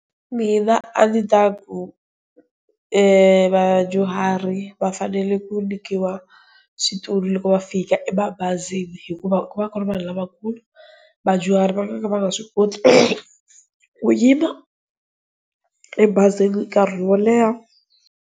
Mina a ni ta ku vadyuhari va fanele ku nyikiwa switulu loko va fika emabazini, hikuva ku va ku ri vanhu lavakulu, vadyuhari va nga ka va nga swi koti ku yima ebazini nkarhi wo leha.